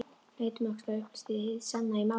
Leit um öxl og upplýsti hið sanna í málinu: